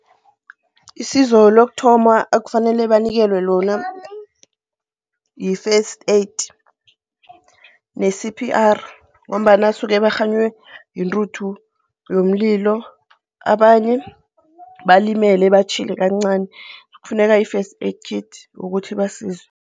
Isizo lokuthoma ekufanele banikelwe lona yi-first aid ne-CPR ngombana basuke barhanywe yintuthu yomlilo, abanye balimele, batjhile kancani. Kufuneka i-first aid kit ukuthi ibasize.